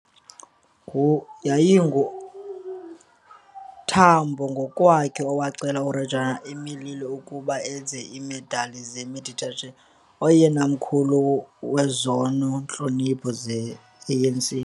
YayinguTambo ngokwakhe owacela uReggio Emilia ukuba enze iimedali zeMeditwalandwe, oyena mkhulu kwezona ntlonipho ze-ANC